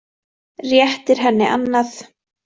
Réttir henni annað.